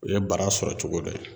O ye bara sɔrɔ cogo dɔ ye